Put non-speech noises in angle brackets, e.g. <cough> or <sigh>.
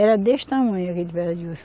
Era deste tamanho aqui <unintelligible> osso.